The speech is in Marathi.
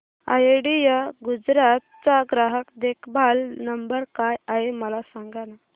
आयडिया गुजरात चा ग्राहक देखभाल नंबर काय आहे मला सांगाना